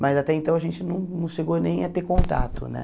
Mas até então a gente não não chegou nem a ter contato, né?